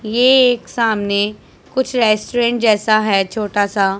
ये एक सामने कुछ रेस्टोरेंट जैसा है छोटा सा--